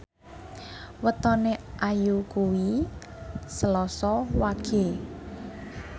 wetone Ayu kuwi Selasa Wage